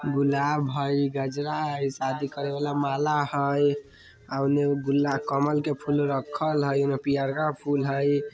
गुलाब हेय गजरा हेय शादी करेला माला हेय ओने एगो गुल कमल के फूल रखल हैय ओय मे पियर का फूल हेय।